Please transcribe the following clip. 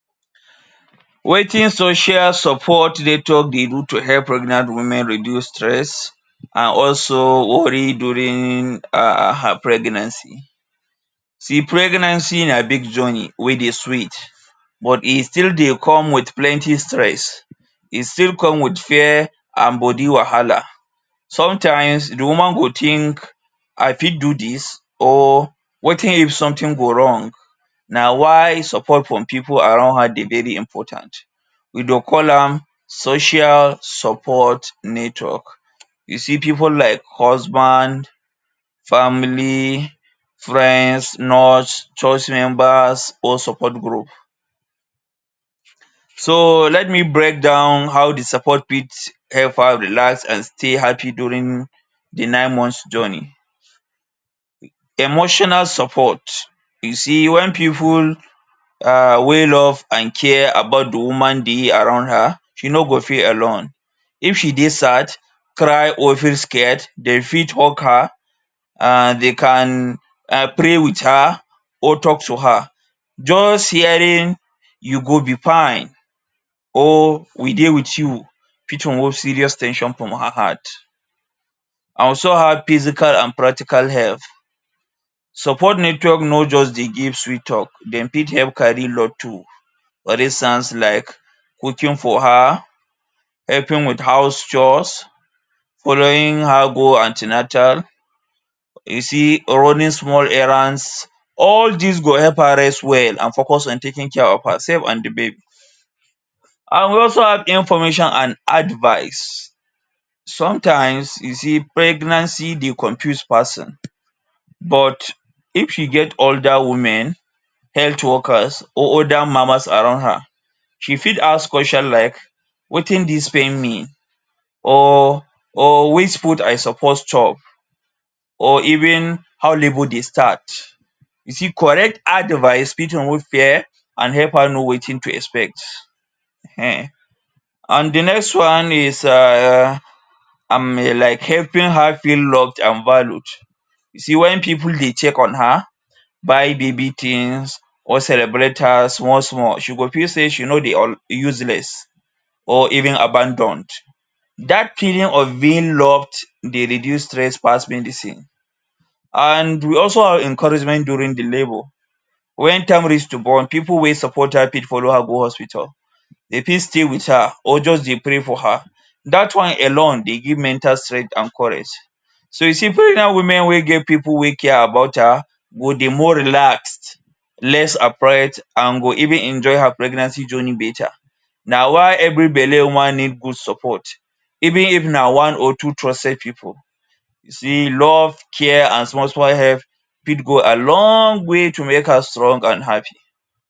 Wetin social support network dey do to help pregnant women reduce stress and also worry during um her pregnancy. See pregnancy na big journey wey dey sweet but e still dey come wit plenti stress. E still come wit fear and bodi wahala. Sometimes, di woman go think: ‘I fit do dis? Or wetin if sometin go wrong? Na why support from pipu around her dey very important. We dey call am ‘Social Support Network’. You see pipu like husband, family, friends, nurse, church members or support group. So, let me break down how di support fit help her relax and stay happi during di nine months journey. Emotional Support: You see wen pipu um wey love and care about di woman dey around her, she no go feel alone. If she dey sad, cry, or feel scared, de fit hug her and de can um pray wit her or tok to her. Just hearing: ‘you go be fine’ or ‘we dey wit you’ fit remove serious ten sion from her heart. And so her physical and practical help, support network no just dey give sweet tok, dem fit help carry load too. For instance like cooking for her, helping wit house chores, following her go an ten atal, you see running small errands, all dis go help her rest well and focus on taking care of herself and di babi. And we also have information and advice. Sometimes you see pregnancy dey confuse person but if she get older women, health workers, or oda mamas around her, she fit ask question like: ‘’Wetin dis pain mean?’’ or or ‘’Which food I suppose chop?’’ or even ‘’How labour dey start?’’ You see correct advice fit remove fear and help her know wetin to expect. um And di next one is um I mean like helping her feel loved and valued. See wen pipu dey check on her, buy babi tins, or celebrate her small small, she go feel sey she no dey all useless or even abandoned. Dat feeling of being loved dey reduce stress pass medicine. And we also have encouragement during di labour. Wen time reach to born, pipu wey support her fit follow her go hospital, de fit stay wit her or just dey pray for her. Dat one alone dey give mental strength and courage. So you see pregnant women wey get pipu wey care about her go dey more relaxed, less afraid, and go even enjoy her pregnancy journey beta. Na why every belle woman need good support, even if na one or two trusted pipu, she love care and small small help fit go a loong way to make her strong and happi.